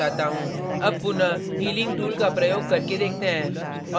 अब पुनः healing tool का प्रयोग करके देखते हैं